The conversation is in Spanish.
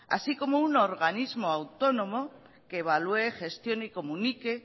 así como un organismo autónomo que evalúe gestione y comunique